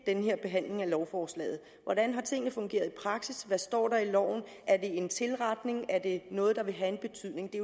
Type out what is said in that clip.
den her behandling af lovforslaget hvordan har tingene fungeret i praksis hvad står der i loven er det en tilretning er det noget der vil have en betydning det